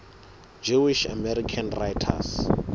jewish american writers